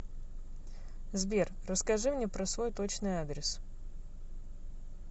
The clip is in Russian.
сбер расскажи мне про свой точный адрес